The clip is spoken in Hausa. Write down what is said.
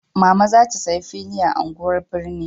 Mama za ta saya fili a unguwan birni